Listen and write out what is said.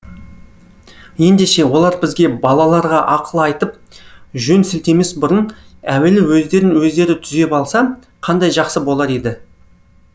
ендеше олар бізге балаларға ақыл айтып жөн сілтемес бұрын әуелі өздерін өздері түзеп алса қандай жақсы болар еді